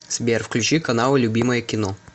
сбер включи каналы любимое кино